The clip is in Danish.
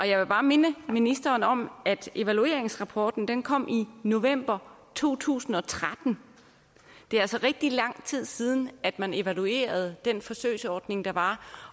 jeg vil bare minde ministeren om at evalueringsrapporten kom i november to tusind og tretten det er altså rigtig lang tid siden at man evaluerede den forsøgsordning der var